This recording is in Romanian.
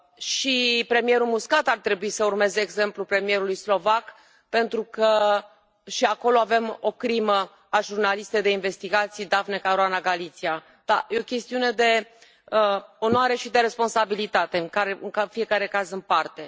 Și premierul Muscat ar trebui să urmeze exemplul premierului slovac, pentru că și acolo avem un asasinat al jurnalistei de investigații, Daphne Caruana Galizia, dar este o chestiune de onoare și de responsabilitate în fiecare caz în parte.